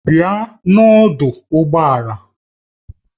Bịa n'ọdụ ụgbọ ala!